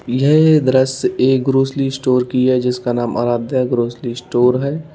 यह दृश्य एक ग्रॉसरी स्टोर की है जिसका नाम आराध्या ग्रॉसरी स्टोर है।